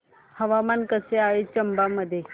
हवामान कसे आहे चंबा मध्ये